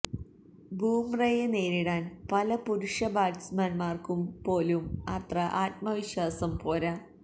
ബൂമ്രയെ നേരിടാന് പല പുരുഷ ബാറ്റ്സ്മാന്മാര്ക്ക് പോലും അത്ര ആത്മവിശ്വാസം പോര